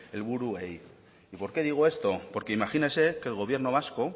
helburuei y por qué digo esto porque imagínese que el gobierno vasco